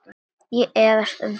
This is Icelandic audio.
Ég efast um það.